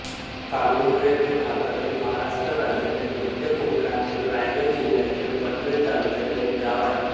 काळुंद्रे हे भारतातील महाराष्ट्र राज्यातील मध्य कोकणातील रायगड जिल्ह्यातील पनवेल तालुक्यातील एक गाव आहे